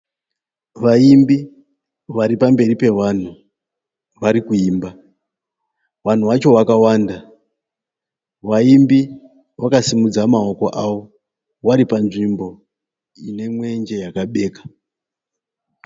Vaimbi vari pamberi pevanhu . Vari kuimba. Vanhu vacho vakawanda. Vaimbi vakasimudza maoko avo vari panzvimbo ine mwenje yakabeka.